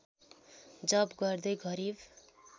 जप गर्दै गरिब